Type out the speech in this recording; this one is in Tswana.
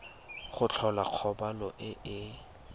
go tlhola kgobalo e e